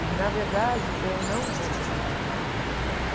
E, na verdade, eu não vou trabalhar com arte um tempo.